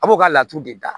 A b'o ka laturu de da